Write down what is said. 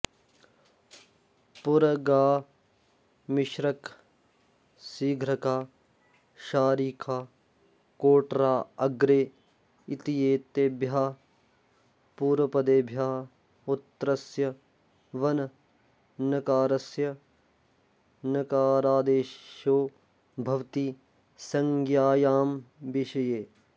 पुरगा मिश्रक सिघ्रका शारिका कोटरा अग्रे इत्येतेभ्यः पूर्वपदेभ्यः उत्तरस्य वननकारस्य णकारादेशो भवति संज्ञायां विषये